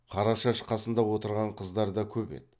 қарашаш қасында отырған қыздар да көп еді